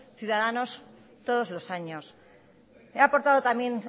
ciudadanos todos los años he aportado también